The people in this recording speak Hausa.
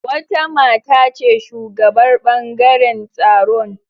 Wata mata ce shugabar ɓangaren tsaron